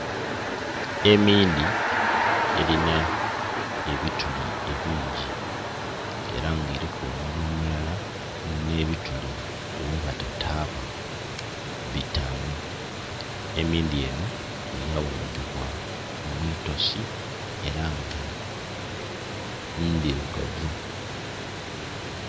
Emindhi erinha ebituli ebingi era nga eriku omunhwa omulala nhe bituli ghebata taba bitanu. Emindhi enho yaghumbibwa mwiitosi era nga ndhilugavu